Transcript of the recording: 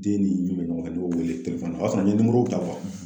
Den ni min bɛ ɲɔgɔn fɛ n y'o wele o y'a sɔrɔ n ye ta